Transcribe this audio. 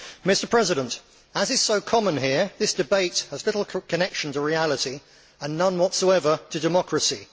Mr President, as is so common here, this debate has little connection to reality and none whatsoever to democracy.